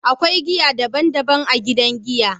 akwai giya daban daban a gidan giya.